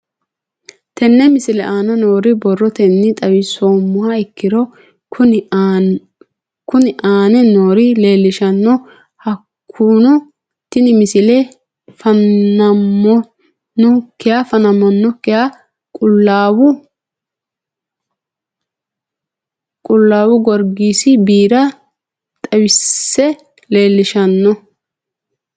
Tenne misile aana noore borrotenni xawisummoha ikirro kunni aane noore leelishano. Hakunno tinni misile fa'naminokiha qulaawu gorigissi biira xawisse leelishshano.